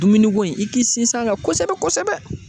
Dumuniko in i k'i sinsin a kan kosɛbɛ kosɛbɛ